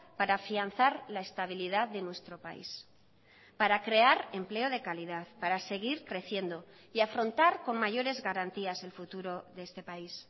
para afianzar la estabilidad de nuestro país para crear empleo de calidad para seguir creciendo y afrontar con mayores garantías el futuro de este país